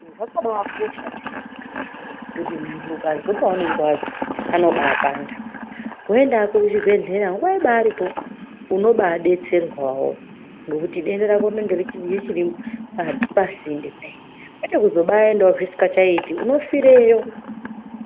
Zvakabakosha piyani kuti muntu ukazwa panenge pabapanda woenda hako kuchibhedhlera nguwa iripo unobadetserwawo ngekuti denda rako Rinenge richiri pasinde kudai Kwete kuzobaendawo zvisingachaiti unofirayo.